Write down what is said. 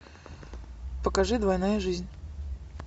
покажи двойная жизнь